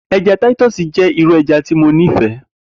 Eja Titu jẹ iru ẹja ti mo nifẹ.